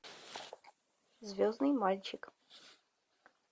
звездный мальчик